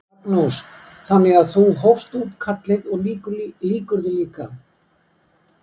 Magnús: Þannig að þú hófst útkallið og lýkur því líka?